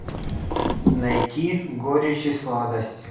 найти горечь и сладость